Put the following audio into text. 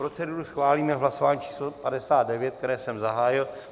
Proceduru schválíme v hlasování číslo 59, které jsem zahájil.